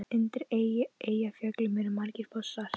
Undir Eyjafjöllum eru margir fossar.